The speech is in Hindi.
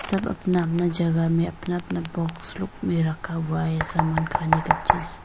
सब अपना अपना जगह में अपना अपना बॉक्स लोक में रखा हुआ है सामान खाने का ची --